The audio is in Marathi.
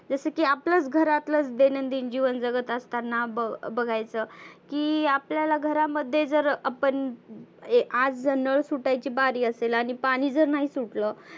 जस की आपल्याचंं घरातल दैनंदीन जिवन जगत असताना ब बघायचं की आपल्याला घरामध्ये जर आपण ए आज नळ सुटायची बारी असेल आणि पाणी जर नाही सुटल.